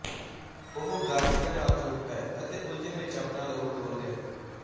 ਉਹ ਗਾਜ਼ੀਆਂ ਨਾਲ ਜੁਟ ਪਏ ਅਤੇ ਉਲਝਣ ਵਿੱਚ ਆਪਣਾ ਲਹੂ ਡੋਲ੍ਹ ਗਏ